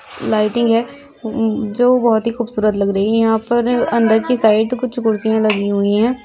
Lighting है हम्म जो बोहोत ही खूबसूरत लग रही है । यहाँ पर अंदर की साइड कुछ कुर्सियां लगी हुई ऐं ।